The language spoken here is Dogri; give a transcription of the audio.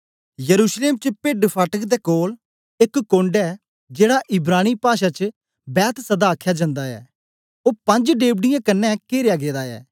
यरूशलेम च भिड्डफाटक दे कोल एक कोण्ड ऐ जेड़ा इब्रानी पाषा च बैतहसदा आखया जंदा ऐ ओ पंज डेव्ढ़ीयें कन्ने केरया गेदा ए